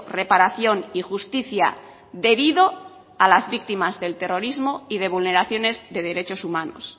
reparación y justicia debido a las víctimas del terrorismo y de vulneraciones de derechos humanos